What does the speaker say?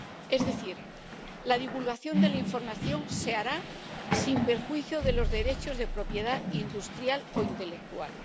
es decir, la divulgación de la información se hará sin perjuicio de los derechos de propiedad industrial o intelectual.